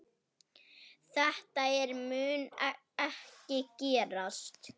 Þetta mun ekki gerast.